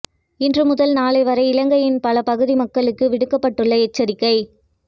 இன்று முதல் நாளை வரை இலங்கையின் பல பகுதி மக்களுக்கு விடுக்கப்பட்டுள்ள எச்சரிக்கை